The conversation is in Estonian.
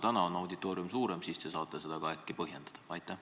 Täna on auditoorium päris suur, äkki saate seda põhjendada?